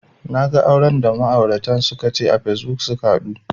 Naga auran da ma'auratan suka ce a facebook suka haɗu